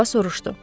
Oliva soruşdu.